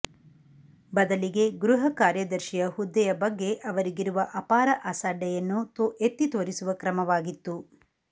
ಬದಲಿಗೆ ಗೃಹ ಕಾರ್ಯದರ್ಶಿಯ ಹುದ್ದೆಯ ಬಗ್ಗೆ ಅವರಿಗಿರುವ ಅಪಾರ ಅಸಡ್ಡೆಯನ್ನು ಎತ್ತಿತೋರಿಸುವ ಕ್ರಮವಾಗಿತ್ತು